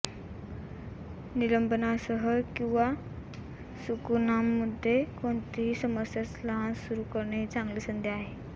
निलंबनासह किंवा सुकाणूमध्ये कोणतीही समस्या लहान सुरू करणे ही चांगली संधी आहे